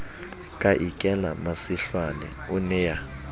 ka ikela masihlwane o nea